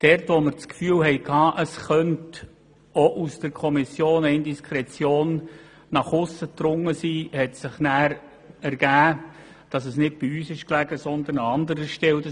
Dort, wo wir das Gefühl hatten, es könnte auch aus der Kommission eine Indiskretion nach aussen gedrungen sein, stellte sich heraus, dass dies nicht bei uns, sondern an anderer Stelle lag.